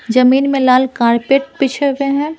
जमीन में लाल कारपेट पिछे हुए हैं।